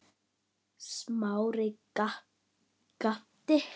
Aftur þagnaði konan.